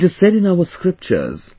it is said in our scriptures